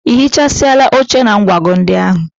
I hichasịala oche na nkwago ndị ahụ?